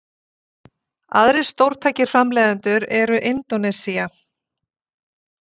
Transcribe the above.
aðrir stórtækir framleiðendur eru indónesía